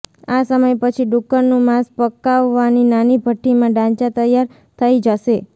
આ સમય પછી ડુક્કરનું માંસ પકાવવાની નાની ભઠ્ઠી માં ડાચાં તૈયાર થઈ જશે